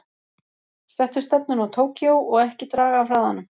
Settu stefnuna á Tókýó og ekki draga af hraðanum.